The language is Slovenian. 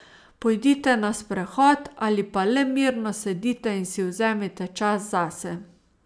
Pojdite na sprehod ali pa le mirno sedite in si vzemite čas zase.